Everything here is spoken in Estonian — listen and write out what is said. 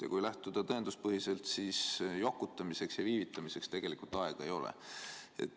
Ja kui läheneda tõenduspõhiselt, siis jokutamiseks ja viivitamiseks tegelikult aega ei ole.